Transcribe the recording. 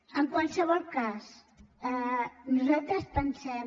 en qualsevol cas nosaltres pensem